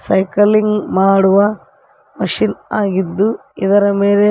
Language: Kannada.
ಸೈಕಲಿಂಗ್ ಮಾಡುವ ಮಿಷನ್ ಆಗಿದ್ದು ಇದರ ಮೇಲೆ--